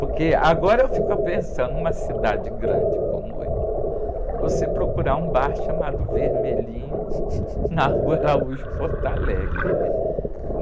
Porque agora eu fico pensando numa cidade grande como o Rio, você procurar um bar chamado Vermelhinho na rua Araújo Porto Alegre, né?